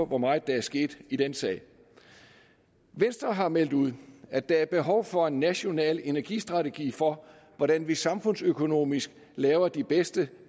hvor meget der er sket i den sag venstre har meldt ud at der er behov for en national energistrategi for hvordan vi samfundsøkonomisk laver de bedste